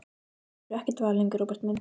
Nú hefurðu ekkert val lengur, Róbert minn.